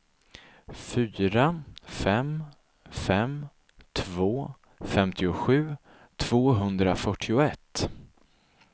fyra fem fem två femtiosju tvåhundrafyrtioett